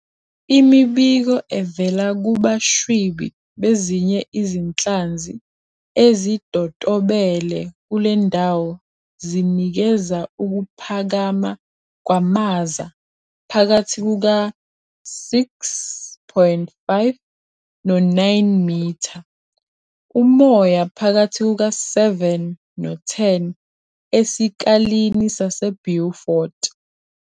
Imibiko evela kubashwibi bezinye izinhlanzi ezidotobele kule ndawo zinikeza ukuphakama kwamaza phakathi kuka-6.5 no-9m, umoya phakathi kuka-7 no-10 esikalini saseBeaufort.